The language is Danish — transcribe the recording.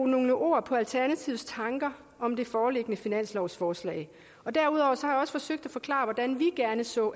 nogle ord på alternativets tanker om det foreliggende finanslovsforslag og derudover har jeg også forsøgt at forklare hvordan vi gerne så